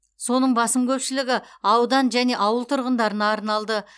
соның басым көпшілігі аудан және ауыл тұрғындарына арналды